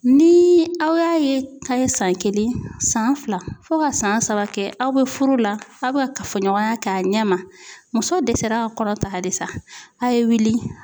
Ni aw y'a ye k'a ye san kelen san fila fo ka san saba kɛ aw bɛ furu la aw bɛ ka kafoɲɔgɔnya kɛ a ɲɛ ma muso dɛsɛra ka kɔnɔ ta halisa a' ye wuli